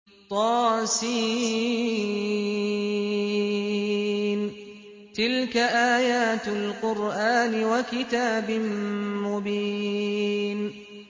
طس ۚ تِلْكَ آيَاتُ الْقُرْآنِ وَكِتَابٍ مُّبِينٍ